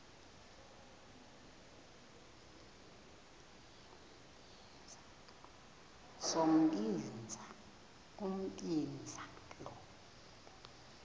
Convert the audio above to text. sombinza umbinza lo